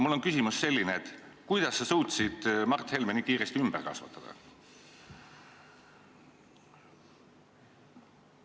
Mul on selline küsimus: kuidas sa suutsid Mart Helme nii kiiresti ümber kasvatada?